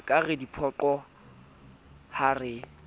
ekare re diphoqo ha re